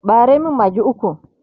ɓare min maggi ukwu!